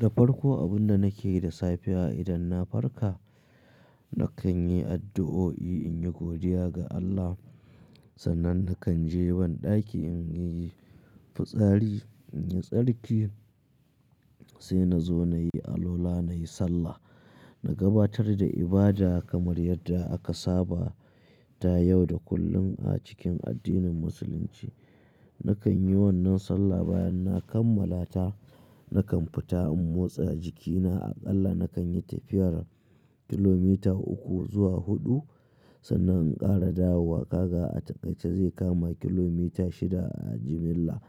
Da farko abin da nake yi da safe a idan na farka, nakan yi addu'o'i in yi godiya ga Allah. Sannan nakan je ban ɗaki in yi fitsari, in yi tsarki, sai na zo na yi alwala, na yi sallah. Na gabatar da ibada kamar yadda aka saba ta yau da kullum a cikin addinin Musulunci. Nakan yi wannan sallah bayan na kammala ta, nakan fita in motsa jikina. Aƙalla nakan yi tafiyar kilomita uku zuwa huɗu. Sannan in ƙara dawowa kaga a takaice zai kama kilomita shida a jimilla.